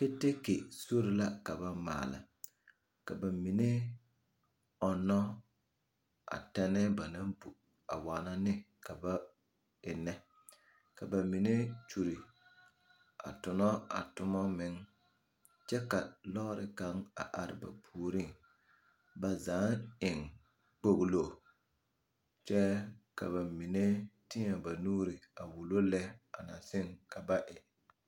Ketekye sori la ka ba maala ka ba mine meŋ ɔnnɔ a tanne ba naŋ pu a waana ne ka ba ennɛ ka ba mine kyɔre a tona a toma meŋ kyɛ ka lɔɔre kaŋ a are ba puoriŋ ba zaa eŋ kpoglo kyɛ ka ba mine teɛ ba nuuri a wulo lɛ ba naŋ seŋ ka ba e.